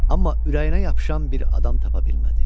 Amma ürəyinə yapışan bir adam tapa bilmədi.